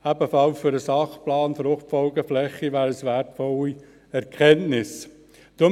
Ebenfalls für den SP FFF wären das wertvolle Erkenntnisse.